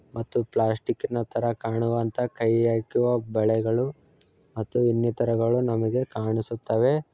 ಮತ್ತು ಪ್ಲಾಸ್ಟಿಕ್ ನ ತರ ಕಾಣುವಂತ ಕೈ ಗೆ ಹಾಕುವ ಬಳೆಗಳು ಮತ್ತು ಇನ್ನಿತರಗಳು ನಮಗೆ ಕಾಣಿಸುತ್ತವೆ.